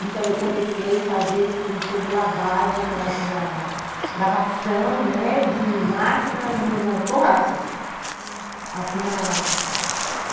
Então, eu comecei a fazer assim sobre lavagem, nas na na lavação, né, de máquinas, nas borrachas, uhum, assim na